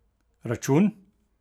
Račun?